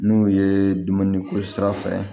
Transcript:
N'u ye dumuni ko sira fɛ